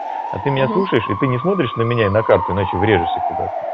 а ты меня слушаешь и ты не смотришь на меня и на карту иначе врежешься куда-то